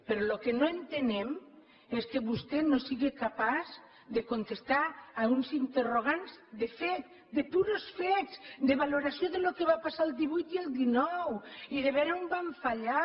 però el que no entenem és que vostè no sigui capaç de contestar uns interrogants de fets de purs fets de valoració del que va passar el divuit i el dinou i de veure on van fallar